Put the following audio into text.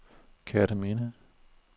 Kerteminde